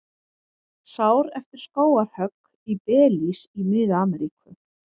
Sár eftir skógarhögg í Belís í Mið-Ameríku.